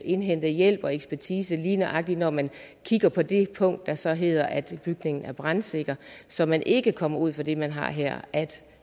indhente hjælp og ekspertise lige nøjagtig når man kigger på det punkt der så hedder at bygningen er brandsikker så man ikke kommer ud for det man har her at